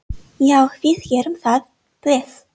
Já, við gerum það. Bless.